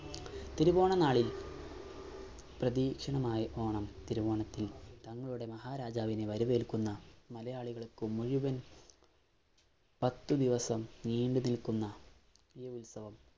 തിരുവോണനാളിൽ പ്രതീക്ഷണമായ ഓണം തിരുവോണത്തിനു തങ്ങളുടെ മഹാരാജാവിനെ വരവേൽക്കുന്ന മലയാളികൾക്ക് മുഴുവൻ പത്തു ദിവസം നീണ്ടുനിൽക്കുന്ന ഈ ഉത്സവം